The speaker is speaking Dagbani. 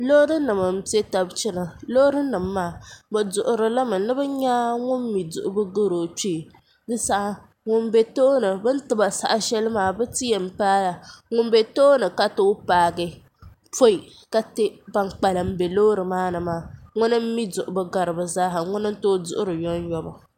loori nim n piɛ tabi chɛna bi duɣuri limi ni bi nyɛ ŋun mi duɣubu gari o kpee din saha ŋun bɛ tooni bin tiba saha shɛli maa di ti yɛn paai la ŋun bɛ tooni ka tooi paagi poi ka ti ban kpalim bɛ loori maa ni maa ŋuni n mi duɣubu gari bi zaaha ŋuni n tooi duɣuri yomyoma